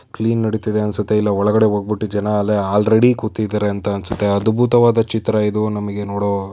ನಡಿತಾ ಇದೆ ಅನ್ಸತ್ತೆ ಇಲ್ಲಿ ಒಳಗಡೆ ಹೂಗ ಬಿಟ್ಟು ಜನ ಅಲ್ರೇಡಿ ಕೂತಿದ್ದರೆ ಅನ್ಸತ್ತೆ ಅದ್ಬುತ ಚಿತ್ರ ಇದು. ನಮಗೆ ನೋಡೋ--